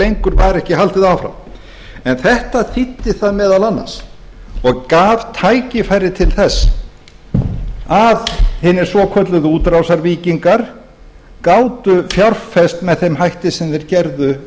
lengur var ekki haldið áfram en þetta þýddi það meðal annars og gaf tækifæri til að hinir svokölluðu útrásarvíkingar gátu fjárfest með þeim hætti sem þeir gerðu